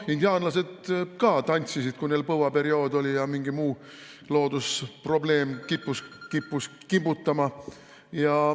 Indiaanlased ka tantsisid, kui neil põuaperiood oli või mingi muu loodusprobleem kippus kimbutama.